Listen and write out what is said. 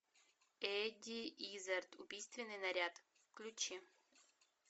эдди иззард убийственный наряд включи